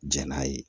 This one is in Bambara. Jɛn n'a ye